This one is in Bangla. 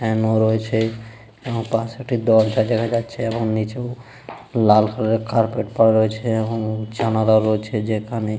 ফ্যান ও রয়েছে এবং পাশে একটি দরজা দেখা যাচ্ছে এবং নিচেও লাল কালার এর কার্পেট পড়া রয়েছে এবংজানালা রয়েছে যেখানে --